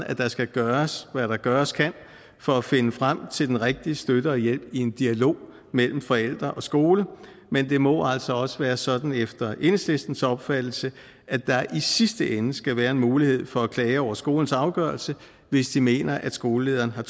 at der skal gøres hvad der gøres kan for at finde frem til den rigtige støtte og hjælp i en dialog mellem forældre og skole men det må altså også være sådan efter enhedslistens opfattelse at der i sidste ende skal være en mulighed for at klage over skolens afgørelse hvis de mener at skolelederen har